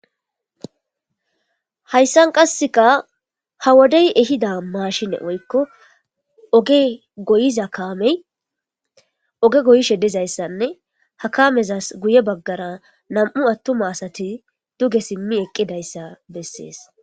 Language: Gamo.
Hayssan qasseka ha wodey ehida maashine woykko oge goyiza kaamey oge goyi sheddizayssanne hakamezas guye baggara nam'u attuma asati duge simmi eqqidayssa bessees.